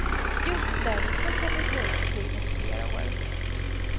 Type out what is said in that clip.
Just därför kan det ju dra ut på tiden i flera år.